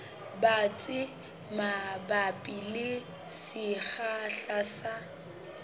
batsi mabapi le sekgahla sa